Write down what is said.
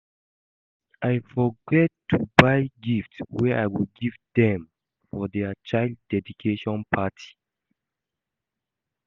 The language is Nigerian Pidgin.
I forget to buy gift wey I go give dem for their child dedication party